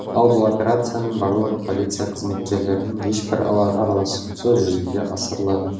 ал бұл операцияның барлығы полиция қызметкерлерінің ешбір араласуынсыз жүзеге асырылады